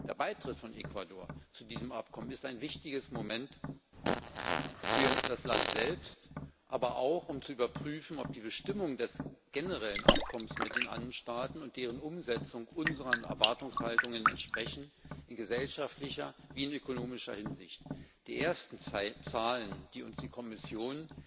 Der Beitritt von Ecuador zu diesem Abkommen ist ein wichtiges Moment für das Land selbst, aber auch um zu überprüfen, ob die Bestimmungen des generellen Abkommens mit den Andenstaaten und deren Umsetzung unseren Erwartungshaltungen in gesellschaftlicher wie in ökonomischer Hinsicht entsprechen. Die ersten Zahlen, die uns die Kommission